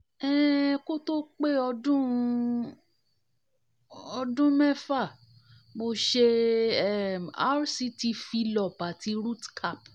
um kó tó pé ọdún um ọdún mẹ́fà mo ṣe um rct fillup ati rootcap